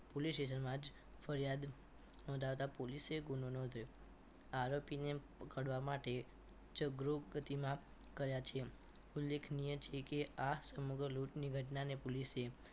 police station માં જ ફરિયાદ નોંધાવતા પોલીસે ગુનો નોંધ્યો આરોપીને પકડવા માટે ઉચ્ચ ગ્રુપ પ્રતિમા કર્યા છે ઉલ્લેખનીય છે કે આ સમગ્ર લૂંટની ઘટના ને પોલીસે